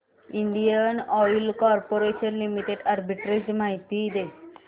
Indian Oil Corporation Limited arbitrage माहिती दे